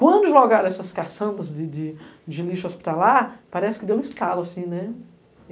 Quando jogaram essas caçambas de lixo hospitalar, parece que deu um estalo assim, né?